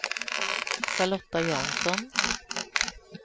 Charlotta Jansson